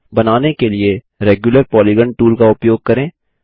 बनाने के लिए रेग्यूलर पॉलीगॉन टूल का उपयोग करें